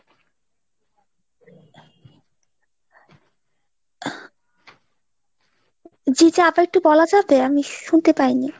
জি জি আবার একটু বলা যাবে? আমি শুনতে পাই নি।